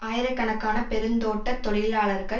ஆயிரக்கணக்கான பெருந்தோட்ட தொழிலாளர்கள்